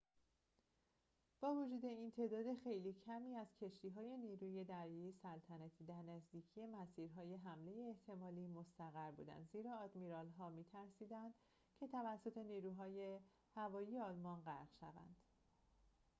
با وجود این تعداد خیلی کمی از کشتی‌های نیروی دریایی سلطنتی در نزدیکی مسیرهای حمله احتمالی مستقر بودند زیرا آدمیرال‌ها می‌ترسیدند که توسط نیروی هوایی آلمان غرق شوند